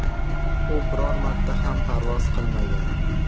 U biror marta ham parvoz qilmagan.